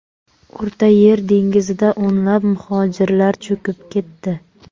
O‘rta Yer dengizida o‘nlab muhojirlar cho‘kib ketdi.